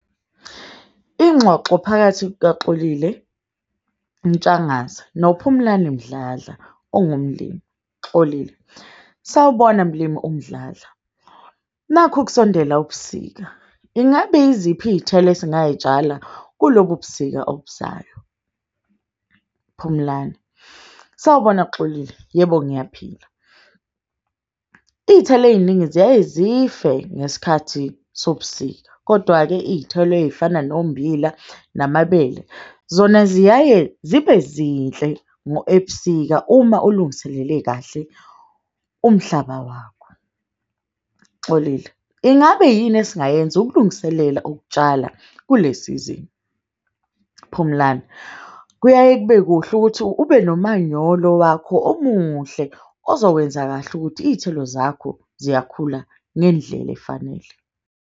Ingxoxo phakathi kukaXolile Ntshangase noPhumlani Mdladla ongumlimi. Xolile, sawubona mlimi uMdladla, nakhu kusondela ubusika. Ingabe iziphi iy'thelo esingay'tshala kulobu ubusika obuzayo? Phumlani, sawubona Xolile, yebo ngiyaphila. Iy'thelo ey'ningi ziyaye zife ngesikhathi sobusika, kodwa-ke iy'thelo ey'fana nommbila namabele. Zona ziyaye zibe zinhle ebusika uma ulungiselele kahle umhlaba wakho. Xolile, ingabe yini esingayenza ukulungiselela ukutshala kule sizini? Phumlani, kuyaye kube kuhle ukuthi ube nomanyolo wakho omuhle. Ozowenza kahle ukuthi iy'thelo zakho ziyakhula ngendlela efanele.